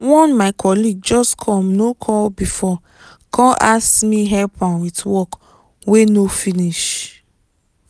one my colleague just come no call before come ask me help am with work wey no finish.